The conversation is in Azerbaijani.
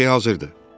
Hər şey hazırdır.